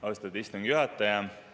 Austatud istungi juhataja!